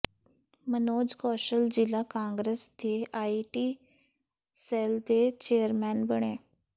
ਮਨੋਜ ਕੌਸ਼ਲ ਜ਼ਿਲ੍ਹਾ ਕਾਂਗਰਸ ਦੇ IT cell ਦੇ ਚੇਅਰਮੈਨ ਬਣੇ